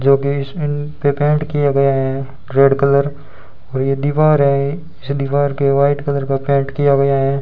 जो की पर पेंट किया गया है रेड कलर और ये दीवार है इस दीवार पे व्हाइट कलर का पेंट किया गया है।